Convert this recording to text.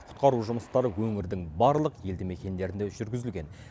құтқару жұмыстары өңірдің барлық елді мекендерінде жүргізілген